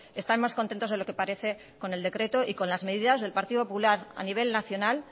están más contentos de lo que parece con el decreto y con las medidas del partido popular a nivel nacional